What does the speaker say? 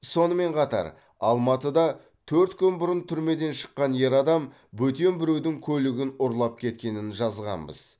сонымен қатар алматыда төрт күн бұрын түрмеден шыққан ер адам бөтен біреудің көлігін ұрлап кеткенін жазғанбыз